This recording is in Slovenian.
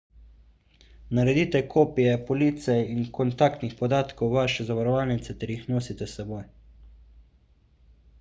naredite kopije police in kontaktnih podatkov vaše zavarovalnice ter jih nosite s seboj